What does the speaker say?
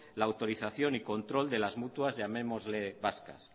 la autorización y control de las mutuas llamémosle vascas